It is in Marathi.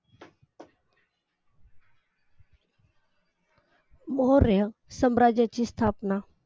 मौर्य साम्राज्याची स्थापना